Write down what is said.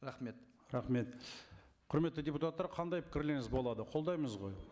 рахмет рахмет құрметті депутаттар қандай пікірлеріңіз болады қолдаймыз ғой